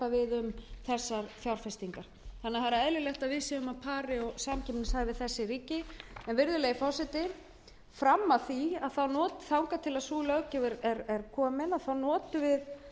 er því eðlilegt að við séum á pari og samkeppnishæf við þessi ríki en þangað til sú löggjöf er komin í gagnið notum við þá aðferð sem hér er